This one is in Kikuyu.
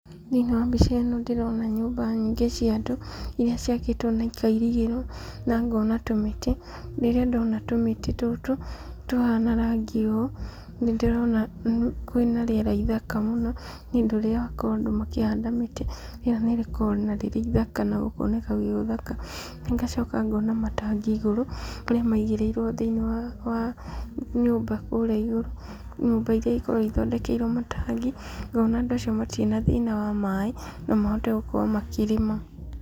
Thĩiniĩ wa mbica ĩno ndĩrona nyumba nyingĩ cia andũ iria ciakĩtwo na ikairigĩrwo na ngona tũmĩtĩ, rĩrĩa ndona tũmĩtĩ tũtũ tũhana rangi ũũ, nĩ ndĩrona kwĩna rĩera ithaka mũno , nĩ ũndũ ũrĩa andũ makoragwo makĩhanda mĩtĩ , rĩera nĩrĩkoragwo rĩ ithaka na gũkoneka gwĩgũthaka, ngacoka ngona matangi igũrũ, maigiĩrĩirwo thĩiniĩ wa wa nyumba kũrĩa igũrũ , nyumba iria ikoragwo ithondekeirwo matangi , ngona andũ acio matirĩ na thina wa maaĩ no mahote gũkorwo makĩrĩma.